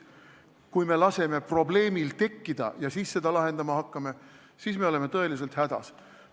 Kui me laseme probleemil tekkida ja alles siis seda lahendama hakkame, siis me oleme tõeliselt hädas.